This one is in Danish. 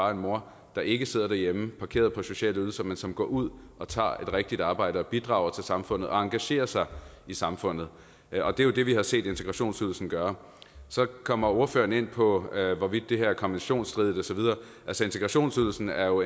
og en mor der ikke sidder derhjemme parkeret på sociale ydelser men som går ud og tager et rigtigt arbejde bidrager til samfundet og engagerer sig i samfundet og det er jo det vi har set integrationsydelsen gøre så kommer ordføreren ind på hvorvidt det her er konventionsstridigt og så videre altså integrationsydelsen er jo